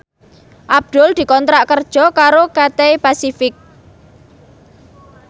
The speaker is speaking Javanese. Abdul dikontrak kerja karo Cathay Pacific